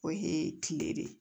O ye kile de